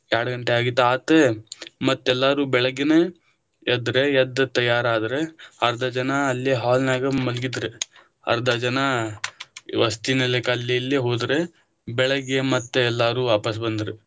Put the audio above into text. ಎರಡಗಂಟೆ ಆಗಿತ್ತು ಮತ್ತ ಎಲ್ಲಾರು ಬೆಳಗ್ಗೆನಾ ಎದ್ದರಾ, ಎದ್ದ ತಯಾರಾದ್ರ ಅರ್ಧ ಜನಾ ಅಲ್ಲೇ hall ನಾಗ ಮಲಗಿದ್ರ, ಅರ್ಧ ಜನಾ ವಸತಿ ನಿಲಯಕ್ಕ ಅಲ್ಲಿ ಇಲ್ಲೇ ಹೋದ್ರ ಬೆಳಗ್ಗೆ ಮತ್ತ ಎಲ್ಲಾರು ವಾಪಸ ಬಂದ್ರ.